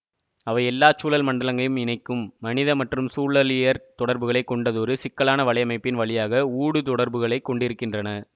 அவை எல்லா சூழல் மண்டலங்களையும் இணைக்கும் மனித மற்றும் சூழலியற் தொடர்புகளை கொண்டதொரு சிக்கலான வலையமைப்பின் வழியாக ஊடுதொடர்புகளைக் கொண்டிருக்கின்றன